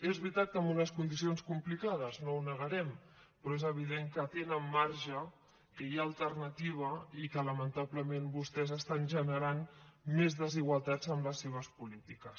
és veritat que en unes condicions complicades no ho negarem però és evident que tenen marge que hi ha alternativa i que lamentablement vostès estan generant més desigualtats amb les seves polítiques